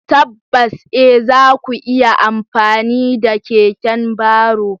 Tabbas e! za ku iya amfani da keken baro.